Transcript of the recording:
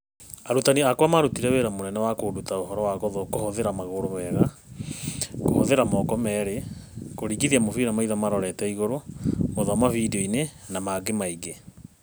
Arutani akwa marutire wĩra mũnene wa kũnduta ũhoro wa kũhuthĩra magũrũ wega, kũhũthĩra moko merĩ, kũringithia mũbira maitho marorete igũrũ, gũthoma vidiũinĩ na mangĩ maingĩ